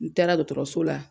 N taara dɔtɔrɔso la,